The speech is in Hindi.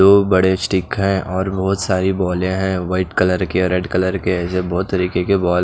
दो बड़े स्टिक है और बहोत सारी बॉले हैं व्हाइट कलर के रेड कलर के जो बहोत तरीके के बॉल --